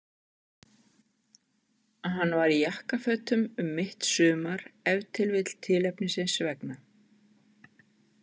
Hann var í jakkafötum um mitt sumar, ef til vill tilefnisins vegna.